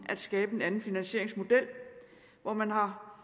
at skabe en anden finansieringsmodel hvor man har